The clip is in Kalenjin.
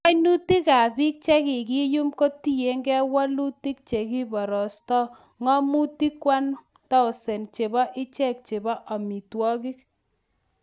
Kainutikab biik che kikiyum kotienge wolutik, che kiborosto ng'omutik 1000 chebo ichek chobe omitwogiik